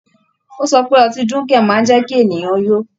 Ó sọ pé ọtí dunkel máa ń jẹ́ kí ènìyàn yó.